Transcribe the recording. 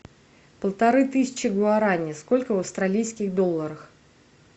полторы тысячи гуарани сколько в австралийских долларах